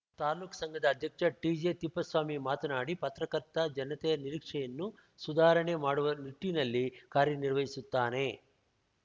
ತಾಲೂಕು ಸಂಘದ ಅಧ್ಯಕ್ಷ ಟಿಜೆತಿಪ್ಪೇಸ್ವಾಮಿ ಮಾತನಾಡಿ ಪತ್ರಕರ್ತ ಜನತೆಯ ನಿರೀಕ್ಷೆಯನ್ನು ಸುಧಾರಣೆ ಮಾಡುವ ನಿಟ್ಟಿನಲ್ಲಿ ಕಾರ್ಯನಿರ್ವಸುತ್ತಾನೆ